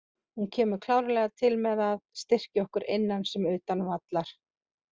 Hún kemur klárlega til með að styrkja okkur innan sem utan vallar.